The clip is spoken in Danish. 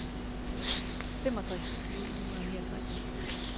femogtres tusind ni hundrede og niogtres